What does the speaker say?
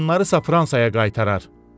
qadınlarısa Fransaya qaytarar.